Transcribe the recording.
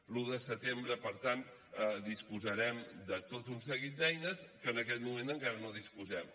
l’un de setembre per tant disposarem de tot un seguit d’eines que en aquest moment encara no disposem